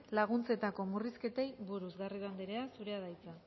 laguntzetako murrizketei buruz garrido andrea zurea da hitza